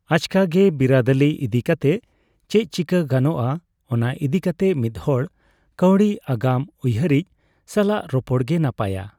ᱟᱪᱠᱟᱜᱮ ᱵᱤᱨᱟᱹᱫᱟᱹᱞᱤ ᱤᱫᱤ ᱠᱟᱛᱮ ᱪᱮᱫᱪᱤᱠᱟᱹ ᱜᱟᱱᱚᱜᱼᱟ, ᱚᱱᱟ ᱤᱫᱤ ᱠᱟᱛᱮ ᱢᱤᱫᱦᱚᱲ ᱠᱟᱹᱣᱰᱤ ᱟᱜᱟᱢ ᱩᱭᱦᱟᱹᱨᱤᱡ ᱥᱟᱞᱟᱜ ᱨᱚᱯᱚᱲ ᱜᱮ ᱱᱟᱯᱟᱭᱟ ᱾